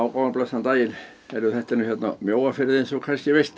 og blessaðan daginn þetta er nú hérna Mjóafirði eins og þú kannski veist